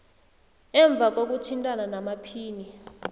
emva kokuthintana namaphini